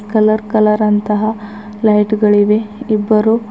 colour colour ಅಂತಹ light ಗಳಿವೆ ಇಬ್ಬರು--